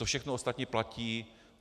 To všechno ostatní platí.